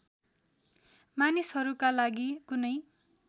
मानिसहरूका लागि कुनै